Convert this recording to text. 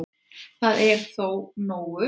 Það er þó nógu